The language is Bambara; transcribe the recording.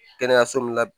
Kɛnɛyaso min la